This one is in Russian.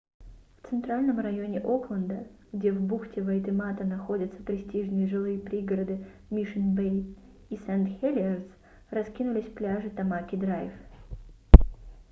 в центральном районе окленда где в бухте вайтемата находятся престижные жилые пригороды мишн-бэй и сент-хелиерс раскинулись пляжи тамаки-драйв